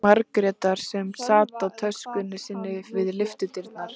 Margrétar sem sat á töskunni sinni við lyftudyrnar.